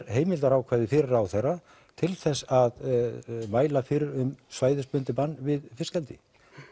heimildarákvæði fyrir ráðherra til þess að mæla fyrir um svæðisbundið bann við fiskeldi